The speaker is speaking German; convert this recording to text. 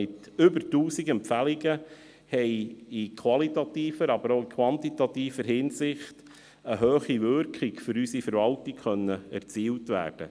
Mit über 1000 Empfehlungen konnte in qualitativer, aber auch in quantitativer Hinsicht eine hohe Wirkung für die Verwaltung erzielt werden.